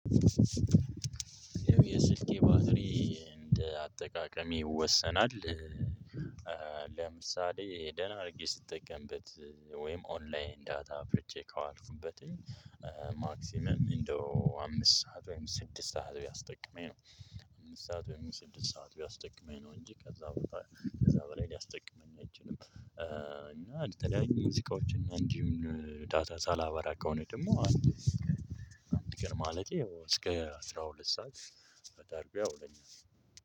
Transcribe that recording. የስልኬ ባትሪ እንደ አጠቃቀሜ ይወሰናል። ለምሳሌ ደህና አድርጌ ስጠቀምበት። ወይም ኦንላይን ዳታ አብርቼ ከዋልኩበት። ማክሲመም እንደው አምስት ሰዓት ወይም ስድስት ሰዓት ቢያስጠቅመኝ ነው። አምስት ሰዓት ወይም ስድስት ሰዓት ቢያስጠቅመኝ ነው እንጂ ከዛ በላይ ሊያስጠቅመኝ አይችልም። እና እንደተለያዩ ሙዚቃዎችን እንዲሁም ዳታ ሳላበራ ከሆነ ደግሞ። አንድ ቀን ማለቴ ያው እስከ አስራ ሁለት ሰዓት ጸዳ አድርጎ ያውለኛል።